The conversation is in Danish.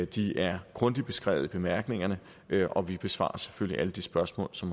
de er grundigt beskrevet i bemærkningerne og vi besvarer selvfølgelig alle de spørgsmål som